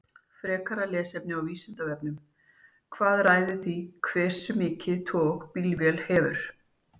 Frekara lesefni af Vísindavefnum: Hvað ræður því hversu mikið tog bílvél hefur?